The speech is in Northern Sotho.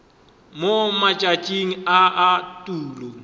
mo matšatšing a a tulo